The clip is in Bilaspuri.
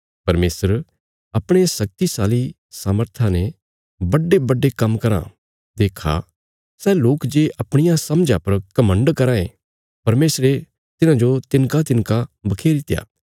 परमेशर अपणे शक्तिशाली सामर्था ने बड्डेबड्डे काम्म कराँ देक्खा सै लोक जे अपणिया समझा पर घमण्ड कराँ थे परमेशरे तिन्हाजो हराईत्या